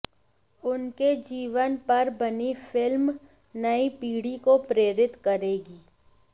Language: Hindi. उनके जीवन पर बनी फिल्म नई पीढ़ी को प्रेरित करेगी